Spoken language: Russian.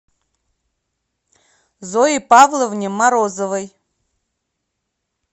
зое павловне морозовой